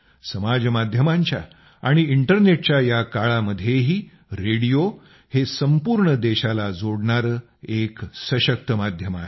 समाज माध्यमांच्या आणि इंटरनेटच्या या काळामध्येही रेडिओ हे संपूर्ण देशाला जोडणारे एक सशक्त माध्यम आहे